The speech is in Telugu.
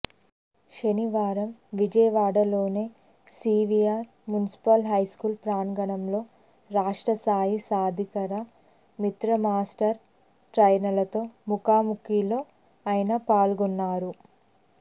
శనివారం విజయవాడలోని సీవీఆర్ మున్సిపల్ హైస్కూల్ ప్రాంగణంలో రాష్ట్ర స్ధాయి సాధికార మిత్ర మాస్టర్ ట్రైనర్లతో ముఖాముఖిలో ఆయన పాల్గొన్నారు